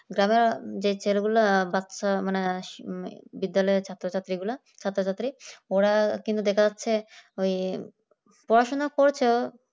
গ্রামের যে ছেলেগুলো বাচ্চা মানে বিদ্যালয়ের ছাত্র-ছাত্রীগুলা ছাত্রছাত্রী কিন্তু দেখা যাচ্ছে ওই পড়াশোনা করছে